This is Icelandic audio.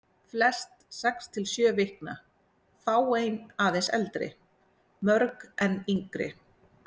Flest sex til sjö vikna, fáein aðeins eldri, mörg enn yngri.